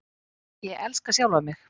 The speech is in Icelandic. Ég elska sjálfan mig.